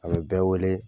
A bɛ bɛɛ wele